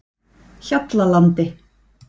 Hjallalandi